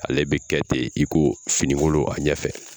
Ale be kɛ ten i ko finikolon a ɲɛ fɛ